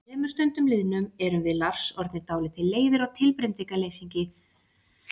Að þremur stundum liðnum erum við Lars orðnir dálítið leiðir á tilbreytingarleysi lýsinga og ummæla.